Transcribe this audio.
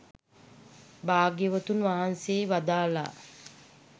භාග්‍යවතුන් වහන්සේ වදාළා